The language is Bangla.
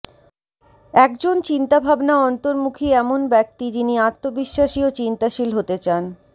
একজন চিন্তাভাবনা অন্তর্মুখী এমন ব্যক্তি যিনি আত্মবিশ্বাসী ও চিন্তাশীল হতে চান